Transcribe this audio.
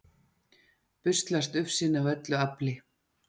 busslast ufsinn af öllu afli